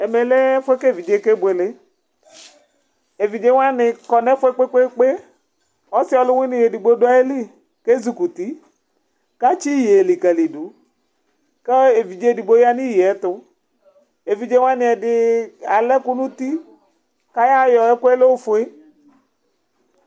ɛmɛlɛ ɛfuɛ kɛvidzi kɛbuɛlɛ ɛvidzɛwɑni kõkpɛkpɛkpɛ ɔsioluwini ɛdigbo duɑtɑmili ɛzukuti kɑtsiyɛyɛ likɑlidu kɛ ɛvidzɛdigbo yɑniyɛyɛyetu ɛvidzɛ wɑniɛdi ɑlɛkunuti ɑyɔ ɛkuɛ lɛ ofuɛ